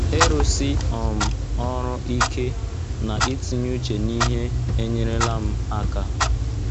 Ịrụsi um ọrụ ike na itinye uche n’ihe enyerela m aka.